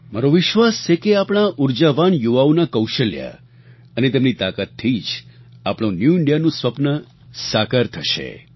મારો વિશ્વાસ છે કે આપણા આ ઊર્જાવાન યુવાઓ ના કૌશલ્ય અને તેમની તાકાતથી જ આપણું ન્યૂ ઇન્ડિયાનું સ્વપ્ન સાકાર થશે